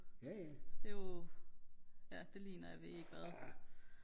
jo det ligner jo jeg ved ikke hvad